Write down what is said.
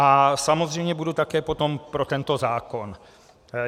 A samozřejmě budu také potom pro tento zákon.